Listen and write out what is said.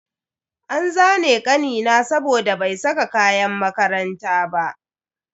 An zane kanina saboda bai saka kayan makaranta ba.